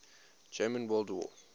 german world war